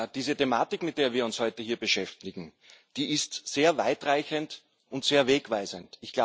Die Thematik, mit der wir uns heute hier beschäftigen, ist sehr weitreichend und sehr wegweisend.